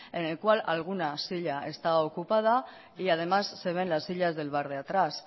en el cual alguna silla está ocupada y además se ven las sillas del bar de atrás